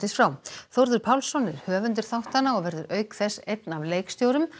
frá Þórður Pálsson er höfundur þáttanna og verður auk þess einn af leikstjórum